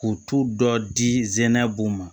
K'u tu dɔ di zɛnɛ b'u ma